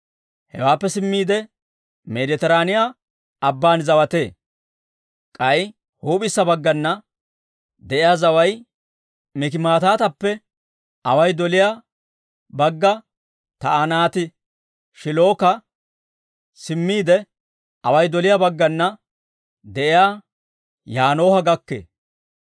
hewaappe simmiide Meeditiraaniyaa Abban zawatee. K'ay huup'issa baggana de'iyaa zaway Mikimataatappe away doliyaa bagga Taa'anaati-Shiilokko simmiide, away doliyaa baggana de'iyaa Yaanooha gakkee.